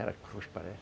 parece.